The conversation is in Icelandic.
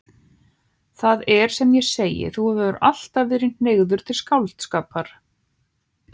Það er sem ég segi: Þú hefur alltaf verið hneigður til skáldskapar.